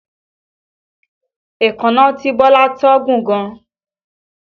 Èékánná tí Bọ́lá tọ́ gùn gan